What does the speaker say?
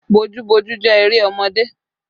Bojúboojú jẹ́ eré ọmọdé